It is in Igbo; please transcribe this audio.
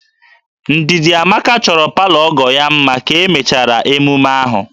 Ndidamaka chọrọ palọ ọgọ ya mma ka emechara emume ahụ